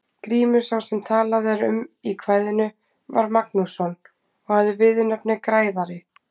Grímur sá sem talað er um í kvæðinu var Magnússon og hafði viðurnefnið græðari.